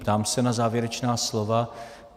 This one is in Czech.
Ptám se na závěrečná slova.